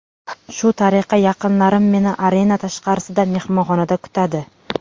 Shu tariqa yaqinlarim meni arena tashqarisida, mehmonxonada kutadi.